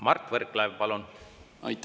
Mart Võrklaev, palun!